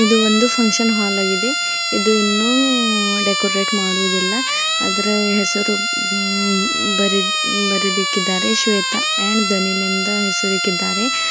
ಇದು ಒಂದು function hall ಆಗಿದೆ ಇದು ಇನ್ನೂ ಡೆಕೋರೇಟ್ ಮಾಡುವುದಿಲ್ಲ ಅದ್ರ ಹೆಸರು ಉಉ ಬರೆದ್ ಬರೆದಿಕಿದ್ದಾರೆ ಶ್ವೇತ ಅಂಡ್ ಡನಿಯಲ್ ಇಂದ ಹೆಸರಿಕ್ಕಿದ್ದಾರೆ.